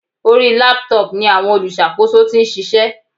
Orí Laptop ni àwọn olùṣàkóso tí ń ṣiṣẹ́.